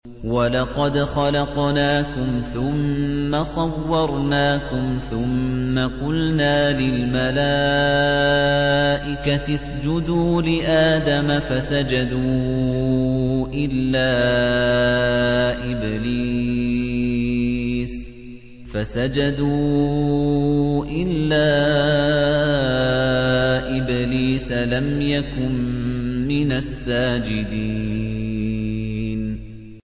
وَلَقَدْ خَلَقْنَاكُمْ ثُمَّ صَوَّرْنَاكُمْ ثُمَّ قُلْنَا لِلْمَلَائِكَةِ اسْجُدُوا لِآدَمَ فَسَجَدُوا إِلَّا إِبْلِيسَ لَمْ يَكُن مِّنَ السَّاجِدِينَ